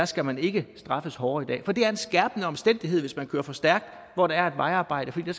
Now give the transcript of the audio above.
skal man ikke straffes hårdere i dag selv om det er en skærpende omstændighed hvis man kører for stærkt hvor der er et vejarbejde fordi